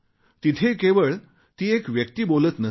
तिथे केवळ ती एक व्यक्ती बोलत नसते